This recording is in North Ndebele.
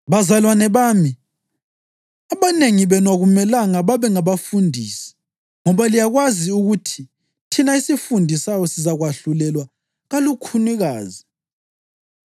Bazalwane bami, abanengi benu akumelanga babe ngabafundisi ngoba liyakwazi ukuthi thina esifundisayo sizakwahlulelwa kalukhunikazi.